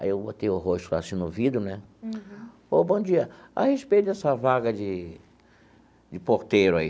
Aí eu botei o rosto assim no vidro né ô bom dia, a respeito dessa vaga de de porteiro aí